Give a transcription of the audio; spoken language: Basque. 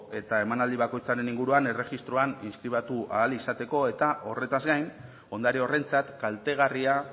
eta emanaldi bakoitzaren inguruan erregistroan inskribatu ahal izateko eta horretaz gain ondare horrentzat kaltegarria